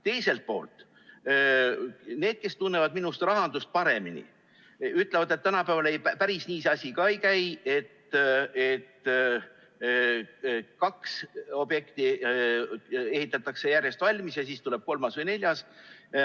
Teiselt poolt, need, kes tunnevad rahandust minust paremini, ütlevad, et tänapäeval päris nii see asi ka ei käi, et kaks objekti ehitatakse järjest valmis ja siis tuleb kolmas või neljas.